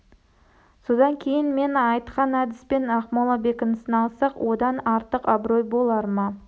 содан кейін мен айтқан әдіспен ақмола бекінісін алсақ одан артық абырой болар ма